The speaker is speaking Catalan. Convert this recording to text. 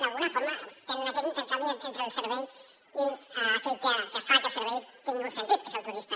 d’alguna forma tenen aquest intercanvi entre el servei i aquell que fa que el servei tingui un sentit que és el turista